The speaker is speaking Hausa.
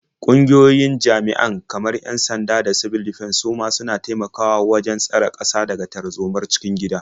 Ƙungiyoyin jami'an kamar 'yan-sanda da sibil difens su ma suna taimakawa wajen tsare ƙasa daga tarzomar cikin gida.